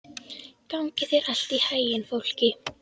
Gangi þér allt í haginn, Fálki.